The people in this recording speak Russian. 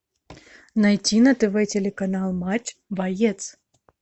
найти на тв телеканал матч боец